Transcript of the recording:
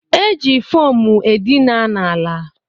E ji fomu edina ala